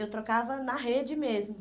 Eu trocava na rede mesmo.